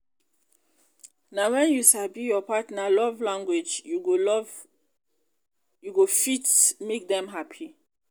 na wen you sabi um your partner um love language you love language you go fit um make dem hapi.